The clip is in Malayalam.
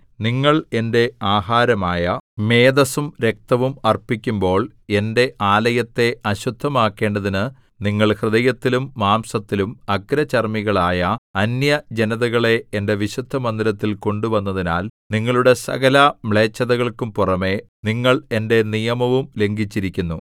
നിങ്ങൾ എന്റെ ആഹാരമായ മേദസ്സും രക്തവും അർപ്പിക്കുമ്പോൾ എന്റെ ആലയത്തെ അശുദ്ധമാക്കേണ്ടതിന് നിങ്ങൾ ഹൃദയത്തിലും മാംസത്തിലും അഗ്രചർമ്മികളായ അന്യജനതകളെ എന്റെ വിശുദ്ധമന്ദിരത്തിൽ കൊണ്ടുവന്നതിനാൽ നിങ്ങളുടെ സകലമ്ലേച്ഛതകൾക്കും പുറമെ നിങ്ങൾ എന്റെ നിയമവും ലംഘിച്ചിരിക്കുന്നു